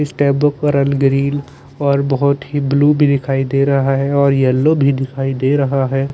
इस tape book orange green और बहोत ही ब्लू भी दिखाई दे रहा है और येल्लो भी दिखाई दे रहा है।